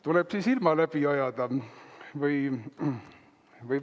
Tuleb siis ilma läbi ajada või …?